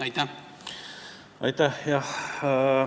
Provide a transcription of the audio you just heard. Aitäh!